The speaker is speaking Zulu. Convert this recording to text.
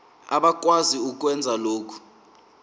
abakwazi ukwenza lokhu